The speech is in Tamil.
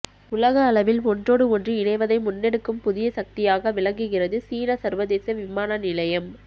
உலக அளவில் ஒன்றோடு ஒன்று இணைவதை முன்னெடுக்கும் புதிய சக்தியாக விளங்குகிறது சீனச் சர்வதேச விமான நிலையம்